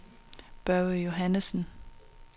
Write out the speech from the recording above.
Børge Johannessen